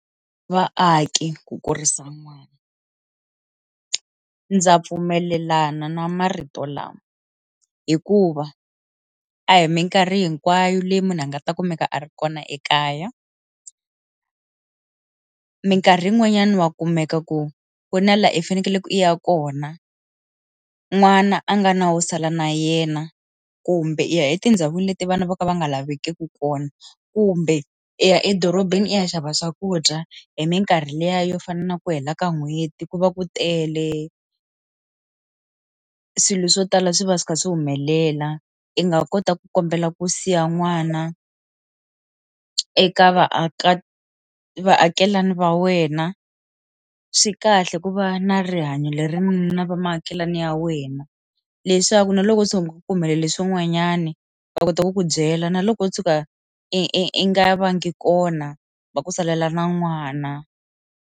Vaaki ku kurisa n'wana, ndza pfumelelana na marito lama hikuva a hi minkarhi hinkwayo leyi munhu a nga ta kumeka a ri kona ekaya minkarhi yin'wanyani wa kumeka ku ku na laha i fanekele ku i ya kona n'wana a nga na wo sala na yena kumbe i ya etindhawini leti vana vo ka va nga lavekeki kona kumbe eya edorobeni i ya xava swakudya hi minkarhi liya yo fana na ku hela ka n'hweti ku va ku tele swilo swo tala swi va swi kha swi humelela i nga kota ku kombela ku siya n'wana e eka vaaka vaakelani va wena swi kahle ku va na rihanyo lerinene va muakelani ya wena leswaku na loko se u kumela leswi n'wanyani va kota ku ku byela na loko u tshuka i i i nga vanga kona va ku salela na n'wana.